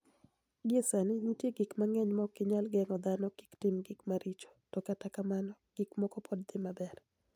Gie sanii, niitie gik manig'eniy ma ok niyal genig'o dhano kik tim gik maricho, to kata kamano, gik moko pod dhi maber.